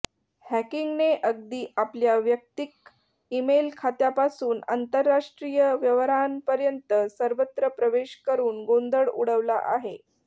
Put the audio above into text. हॅकिंगने अगदी आपल्या वैयक्तिक ईमेल खात्यापासून आंतरराष्ट्रीय व्यवहारांपर्यंत सर्वत्र प्रवेश करून गोंधळ उडवला आहे